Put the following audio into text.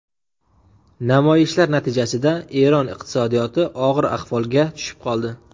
Namoyishlar natijasida Eron iqtisodiyoti og‘ir ahvolga tushib qoldi.